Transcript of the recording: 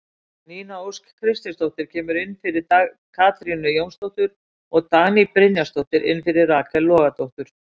Nína Ósk Kristinsdóttir kemur inn fyrir Katrínu Jónsdóttur og Dagný Brynjarsdóttir inn fyrir Rakel Logadóttur.